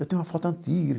Eu tenho uma foto antiga.